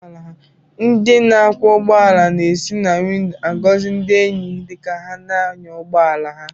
Ndị na-akwọ ụgbọala na-esi na windo agọzi ndi enyi dịka ha na-anya ụgbọ ala ha